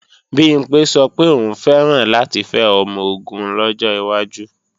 Bimpé sọ pé òun fẹ́ràn láti fẹ́ ọmọ-ogun lọ́jọ́ iwájú